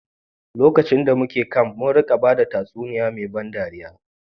Lokacin da muke camp, was an campfire da mukayi, mun rika bada tatsuniya mai ban dariya.